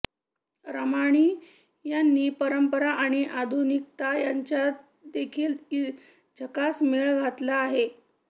रामाणी यांनी परंपरा आणि आधुनिकता यांचादेखील झकास मेळ घातला आहे